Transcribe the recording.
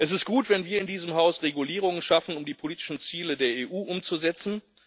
Es ist gut, wenn wir hier in diesem Haus Regulierungen schaffen, um die politischen Ziele der EU umzusetzen.